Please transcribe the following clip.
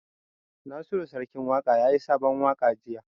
Nasiru Sarkin Waƙa yayi sabon waƙa jiya